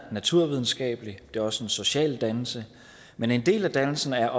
er naturvidenskabelig det er også social dannelse men en del af dannelsen er